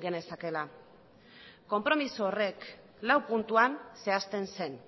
genezakeela konpromiso horrek lau puntuan zehazten zen